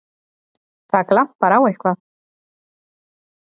Það glampar á eitthvað!